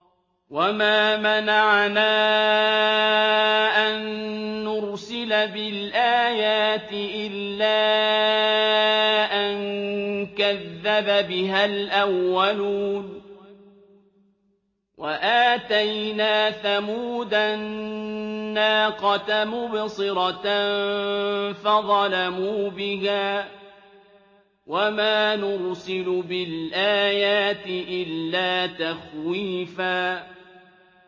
وَمَا مَنَعَنَا أَن نُّرْسِلَ بِالْآيَاتِ إِلَّا أَن كَذَّبَ بِهَا الْأَوَّلُونَ ۚ وَآتَيْنَا ثَمُودَ النَّاقَةَ مُبْصِرَةً فَظَلَمُوا بِهَا ۚ وَمَا نُرْسِلُ بِالْآيَاتِ إِلَّا تَخْوِيفًا